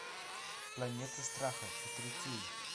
планета страха четыре кей